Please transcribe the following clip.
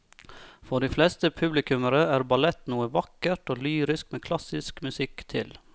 For de fleste publikummere er ballett noe vakkert og lyrisk med klassisk musikk til.